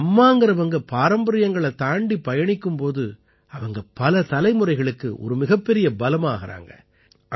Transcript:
ஆனா அம்மாங்கறவங்க பாரம்பரியங்களைத் தாண்டிப் பயணிக்கும் போது அவங்க பல தலைமுறைகளுக்கு ஒரு மிகப்பெரிய பலமா ஆகறாங்க